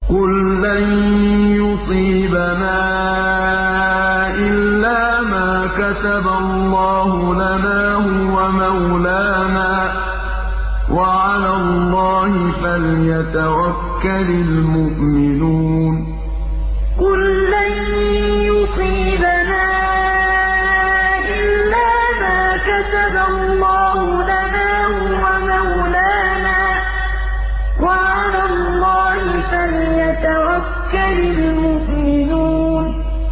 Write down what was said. قُل لَّن يُصِيبَنَا إِلَّا مَا كَتَبَ اللَّهُ لَنَا هُوَ مَوْلَانَا ۚ وَعَلَى اللَّهِ فَلْيَتَوَكَّلِ الْمُؤْمِنُونَ قُل لَّن يُصِيبَنَا إِلَّا مَا كَتَبَ اللَّهُ لَنَا هُوَ مَوْلَانَا ۚ وَعَلَى اللَّهِ فَلْيَتَوَكَّلِ الْمُؤْمِنُونَ